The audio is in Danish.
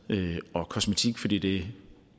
og kosmetik fordi det